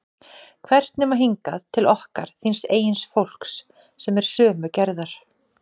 Hvert nema hingað, til okkar, þíns eigin fólks, sem er sömu gerðar?